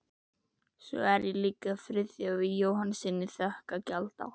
Og svo á ég líka Friðþjófi Jóhannessyni þökk að gjalda